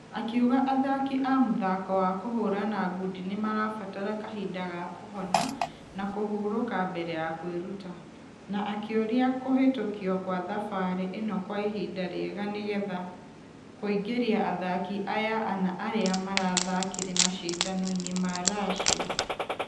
Akĩuga athaki a mũthako wa kũhũrana ngundi nĩmarabatara kahinda ga kũhona na kũhuroka mbere ya kwĩruta ....na akĩoria kũhĩtũkiokwathabarĩ ĩnokwaihinda rĩega nĩgetha kũingĩria athaki aya ana arĩa marathqkire mashidano-inĩ ma russia.